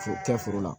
Kɛ foro la